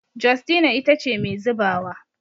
Justina ita ce Mai zubawa